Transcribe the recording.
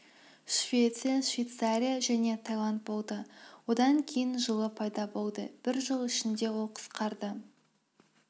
швеция швецария және таиланд болды одан кейін жылы пайда болды бір жыл ішінде ол қысқарды